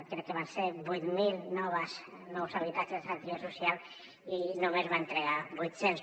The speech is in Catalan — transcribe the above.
crec que van ser vuit mil nous habitatges de garantia social i només en va entregar vuit cents